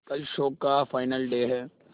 कल शो का final day है